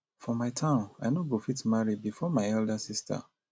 for my town i no go fit marry before my elder sister